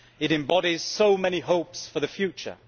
It embodies so many hopes for the future.